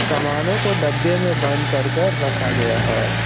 सामानों को डब्बे में बंद कर कर रखा गया है।